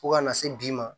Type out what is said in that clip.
Fo kana se bi ma